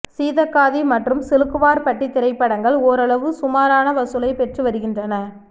சீதக்காதி மற்றும் சிலுக்குவார்பட்டி திரைப்படங்கள் ஓரளவு சுமாரான வசூலை பெற்று வருகின்றன